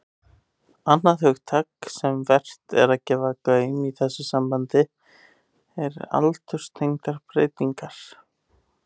Annað hugtak sem vert er að gefa gaum í þessu sambandi er aldurstengdar breytingar.